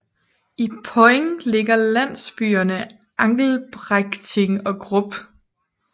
I Poing ligger landsbyerne Angelbrechting og Grub